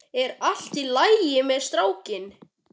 Er allt í lagi með strákinn?